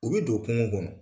U be don kungo kɔnɔ.